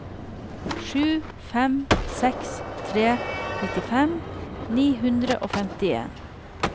sju fem seks tre nittifem ni hundre og femtien